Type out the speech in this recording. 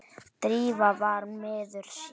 Drífa var miður sín.